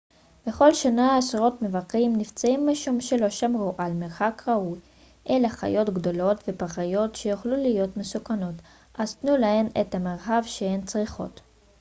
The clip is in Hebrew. בכל שנה עשרות מבקרים נפצעים משום שלא שמרו על מרחק ראוי אלה חיות גדולות ופראיות שיכולות להיות מסוכנות אז תנו להן את המרחב שהן צריכות